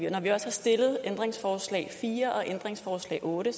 og når vi også har stillet ændringsforslag fire og ændringsforslag otte